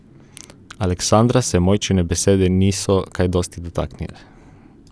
Aleksandra se Mojčine besede niso kaj dosti dotaknile.